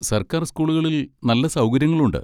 സർക്കാർ സ്കൂളുകളിൽ നല്ല സൗകര്യങ്ങളുണ്ട്.